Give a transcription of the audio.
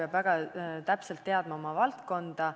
Kandidaat peab oma valdkonda väga hästi tundma.